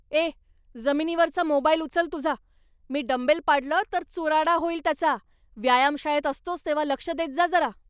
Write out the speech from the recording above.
ए, जमिनीवरचा मोबाईल उचल तुझा, मी डंबेल पाडलं तर चुराडा होईल त्याचा, व्यायामशाळेत असतोस तेव्हा लक्ष देत जा जरा.